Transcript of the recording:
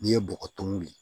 N'i ye bɔgɔ tumu